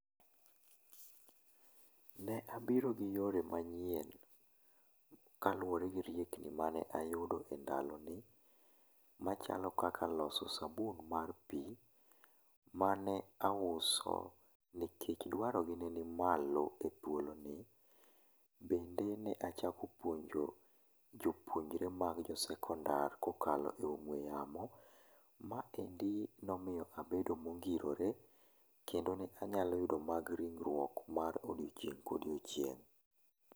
Ne abiro gi yore manyien, kaluwore gi riekni mane ayudo endaloni machalo kaka loso sabun mar pii mane auso nikech dwaro gi neni malo e thuoloni. Bende ne achako puonjo jopuonjre mag jo sekondar kokalo e ong'we yamo. Maendi nomiyo abedo mongirore kendo ne anyalo yudo mag ringruok mar odiochieng' kodiochieng'